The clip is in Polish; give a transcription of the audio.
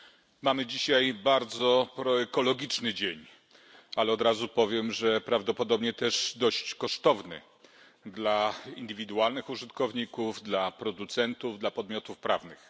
Panie Przewodniczący! Mamy dzisiaj bardzo proekologiczny dzień, ale od razu powiem, że prawdopodobnie też dość kosztowny dla indywidualnych użytkowników, dla producentów, dla podmiotów prawnych.